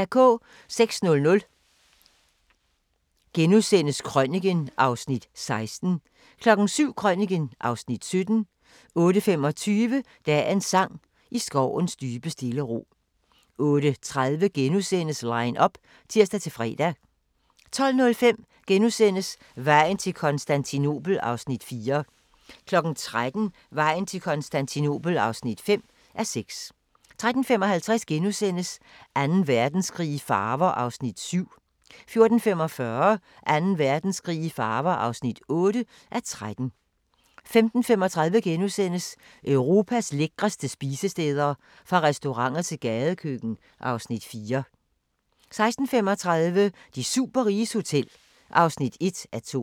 06:00: Krøniken (Afs. 16)* 07:00: Krøniken (Afs. 17) 08:25: Dagens sang: I skovens dybe stille ro 08:30: Line up *(tir-fre) 12:05: Vejen til Konstantinopel (4:6)* 13:00: Vejen til Konstantinopel (5:6) 13:55: Anden Verdenskrig i farver (7:13)* 14:45: Anden Verdenskrig i farver (8:13) 15:35: Europas lækreste spisesteder – fra restauranter til gadekøkken (Afs. 4)* 16:35: De superriges hotel (1:2)